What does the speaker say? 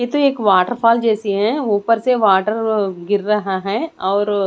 यह तो एक वॉटर फॉल्स जैसी है ऊपर से वाटर गिर रहा है और --